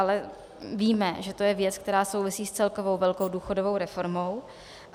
Ale víme, že to je věc, která souvisí s celkovou velkou důchodovou reformou.